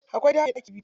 Akwai gida mai ɗaki biyu.